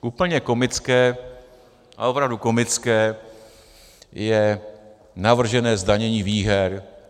Úplně komické, ale opravdu komické je navržené zdanění výher.